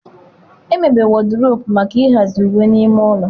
Emebere Wọdụropu maka ịhazi uwe n'ime ụlọ.